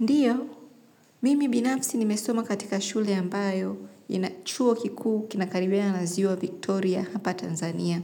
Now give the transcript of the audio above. Ndio, mimi binafsi nimesoma katika shule ambayo ina chuo kikuu kinakaribiana na ziwa Victoria hapa Tanzania.